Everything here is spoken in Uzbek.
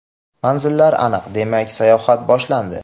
Manzillar aniq, demak sayohat boshlandi.